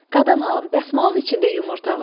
Qadan alım, dəsmalın içində yumurta var.